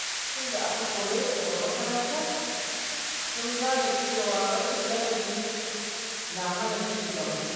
Lokacin da aka kore su daga makaranta, suka gane cewa rashin ladabi na hana cigaba.